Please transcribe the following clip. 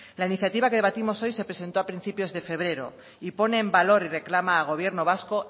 la iniciativa que debatimos hoy se presentó a principios de febrero y pone en valor y reclama al gobierno vasco